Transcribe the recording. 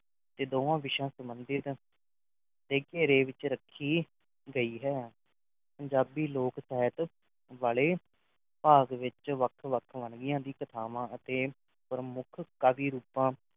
ਕੇ ਦੋਵਾਂ ਵਿਸ਼ਿਆ ਸੰਬੰਧਿਤ ਦੇ ਘੇਰੇ ਵਿੱਚ ਰੱਖੀਂ ਗਈ ਹੈ ਪੰਜਾਬੀ ਲੋਕ ਸਾਹਿਤ ਵਾਲੇ ਭਾਗ ਵਿੱਚ ਵੱਖ ਵੱਖ ਵੰਨਗੀਆਂ ਦੀ ਕਥਾਵਾਂ ਅਤੇ ਪਰਮੁਖ ਕਵੀ ਰੂਪਾ